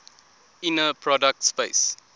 inner product space